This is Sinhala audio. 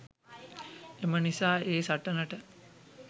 එම නිසා ඒ සටනට